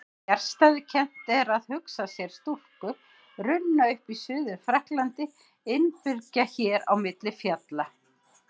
Fjarstæðukennt að hugsa sér stúlku runna upp í Suður-Frakklandi innibyrgða hér á milli fjalla.